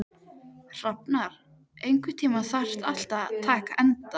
Einstaka einmana munkur þræddi þögull stíginn að kofa sínum.